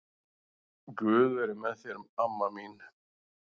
Guð veri með þér amma mín.